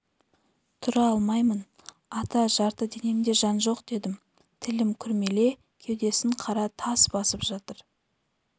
тұра алмаймын ата жарты денемде жан жоқ дедім тілім күрмеле кеудесін қара тас басып жатыр